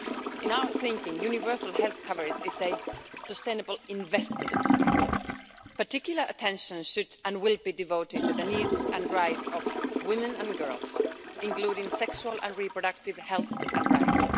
In our thinking, universal health coverage is a sustainable investment. Particular attention should and will be devoted to the needs and rights of women and girls, including sexual and reproductive health and rights.